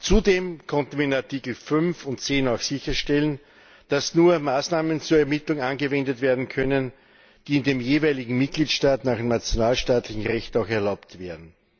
Zudem konnten wir in Artikel5 und 10 auch sicherstellen, dass nur Maßnahmen zur Ermittlung angewendet werden können, die in dem jeweiligen Mitgliedstaat nach nationalstaatlichem Recht auch erlaubt wären.